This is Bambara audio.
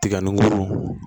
Tiga nun